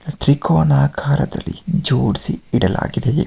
ತ್ರಿಕೋನಾ ಆಕಾರ ದಲ್ಲಿ ಜೋಡಿಸಿ ಇಡಲಾಗಿದೆ.